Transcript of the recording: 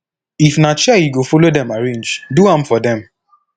if na chair yu go follow dem arrange do am for dem